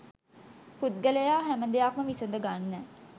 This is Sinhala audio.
පුද්ගලයා හැම දෙයක්ම විසඳ ගන්න